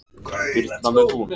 Birna með hún.